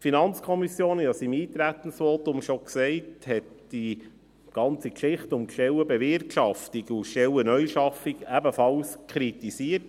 Wie ich schon im Eintretensvotum gesagt habe, hat die FiKo die ganze Sache um die Stellenbewirtschaftung und Stellen-Neuschaffung in ihrem Bericht ebenfalls kritisiert.